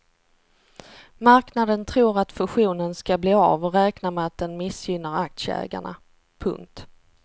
Marknaden tror att fusionen ska bli av och räknar med att den missgynnar aktieägarna. punkt